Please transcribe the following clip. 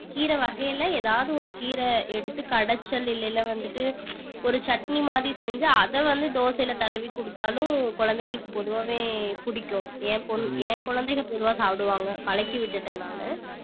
கீரை வகையில ஏதாவது ஒரு கீரை எடுத்து கடச்சல் இல்லைன்னா வந்துட்டு ஒரு சட்னி மாதிரி செஞ்சு அதை வந்து தோசையில தடவிக் கொடுத்தாலும் குழந்தைகளுக்கு பொதுவாவே பிடிக்கும் என் பொன்~ என் குழந்தைங்க பொதுவா சாப்பிடுவாங்க பழக்கி விட்டுட்டேன் நானு